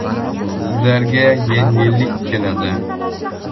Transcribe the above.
Sizlarga yengillik keladi.